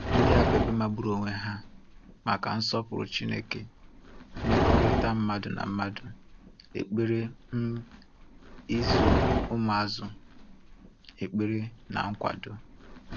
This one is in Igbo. Ndị a bụ ebe magburu onwe ha maka nsọpụrụ Chineke, mmekọrịta mmadụ na mmadụ, ekpere, um ịzụ ụmụazụ, ekpere na nkwado.